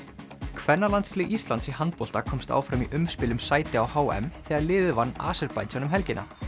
kvennalandslið Íslands í handbolta komst áfram í umspil um sæti á h m þegar liðið vann Aserbaídsjan um helgina